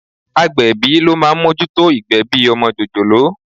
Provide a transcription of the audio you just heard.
Agbẹ̀bí ló máa ń mójútó ìgbẹ̀bi ọmọ jòjòló.